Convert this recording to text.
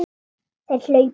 Þeir hlaupa!